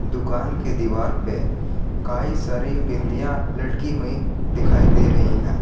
दुकान के दीवार पे कई सारी बिंदिया लटकी हुई है।